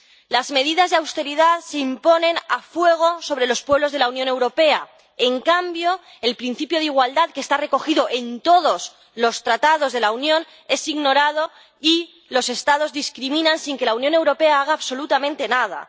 Las medidas de austeridad se imponen a fuego sobre los pueblos de la Unión Europea. En cambio, el principio de igualdad que está recogido en todos los Tratados de la Unión es ignorado, y los Estados discriminan sin que la Unión Europea haga absolutamente nada.